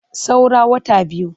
Saura wata biyu.